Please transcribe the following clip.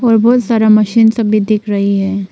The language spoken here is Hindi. और बहुत सारा मशीन सब भी दिख रही है।